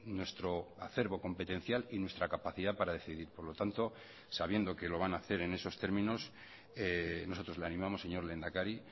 nuestro acervo competencial y nuestra capacidad para decidir por lo tanto sabiendo que lo van a hacer en esos términos nosotros le animamos señor lehendakari